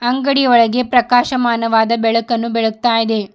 ಅಂಗಡಿಯ ಒಳಗೆ ಪ್ರಕಾಶಮಾನವಾದ ಬೆಳಕನ್ನು ಬೆಳಗ್ತಾ ಇದೆ.